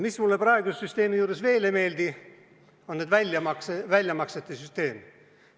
Mis mulle praeguse süsteemi juures veel ei meeldi, see on väljamaksete süsteem.